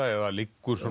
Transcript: eða liggur